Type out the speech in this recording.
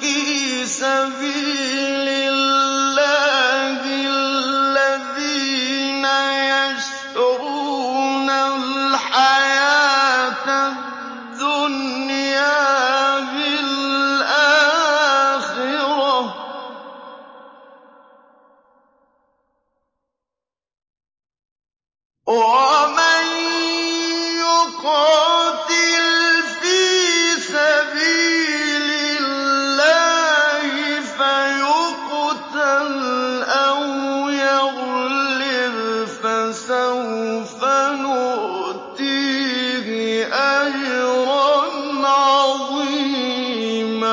فِي سَبِيلِ اللَّهِ الَّذِينَ يَشْرُونَ الْحَيَاةَ الدُّنْيَا بِالْآخِرَةِ ۚ وَمَن يُقَاتِلْ فِي سَبِيلِ اللَّهِ فَيُقْتَلْ أَوْ يَغْلِبْ فَسَوْفَ نُؤْتِيهِ أَجْرًا عَظِيمًا